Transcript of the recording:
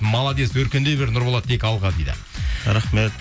молодец өркендей бер нұрболат тек алға дейді рахмет